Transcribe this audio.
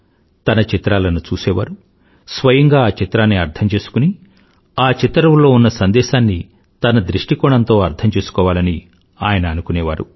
తన చిత్రాలను చూసేవారు స్వయంగా ఆ చిత్రాన్ని అర్థం చేసుకుని ఆ చిత్తరువులో ఉన్న సందేశాన్ని తన దృష్టికోణంతో అర్థం చేసుకోవాలని ఆయన అనుకునేవారు